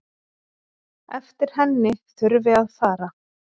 Eftir henni þurfi að fara.